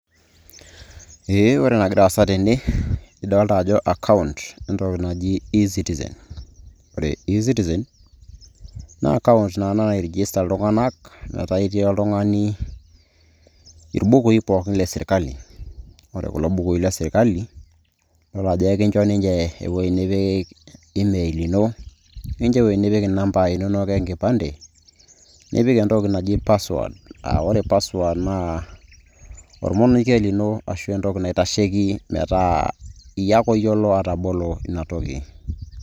Eeeh ore enagira aasa tene idolta ajo account entoki naji ezitizen ore ezitizen[cs naa account naaji nairegista iltung'anak metaa itii oltung'ani irbukui pookin le sirkali ore kulo bukui lesriali iyiolo ajo enkinjo niche ewueji nipik emeil ino nikincho ewueji nipik inamba inonok enkipande nipik endoki naji password aa ore password naa ormonokie lino ashua entoki naitasheki metaa iyiolo ake oyiolo atabolo ina toki.